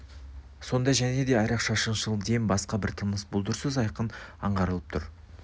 сонда және де айрықша шыншыл дем басқа бір тыныс бұлдырсыз айқын аңғарылып тұр